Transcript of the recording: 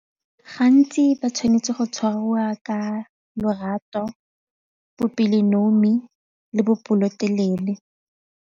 Gantsi ba tshwanetse go tshwariwa ka lorato, bopelonomi le bopelotelele.